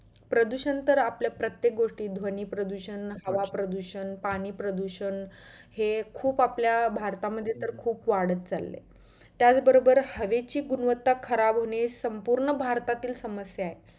प्रदुषण तर आपल्या प्रत्येक गोष्टीत होतो ध्वनी प्रदुषण, हवा प्रदुषण, पाणी प्रदुषण हे खूप आपल्या भारतामध्ये तर खूप वाढत चाललंय त्याच बरोबर हवेची गुणवता खराब होणे हि संपूर्ण भारतातील समस्यां आहे